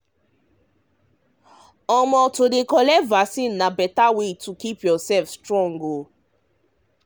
um like so to collect vaccine na vaccine na better way to keep um yourself strong.